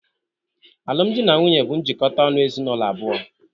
Alum dị na nwunye bụ njikota ọnụ ezinụlọ abụọ.